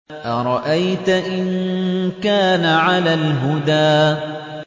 أَرَأَيْتَ إِن كَانَ عَلَى الْهُدَىٰ